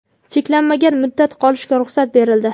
cheklanmagan muddat qolishga ruxsat berildi.